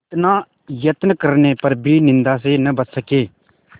इतना यत्न करने पर भी निंदा से न बच सके